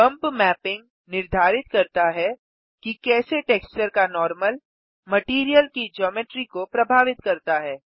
bump mapping निर्धारित करता है कि कैसे टेक्सचर का नॉर्मल मटैरियल की जियोमेट्री को प्रभावित करता है